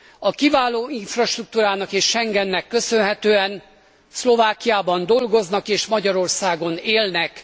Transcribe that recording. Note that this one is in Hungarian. A kiváló infrastruktúrának és Schengennek köszönhetően Szlovákiában dolgoznak és Magyarországon élnek.